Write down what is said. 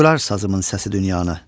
Coşdurar sazımın səsi dünyanı.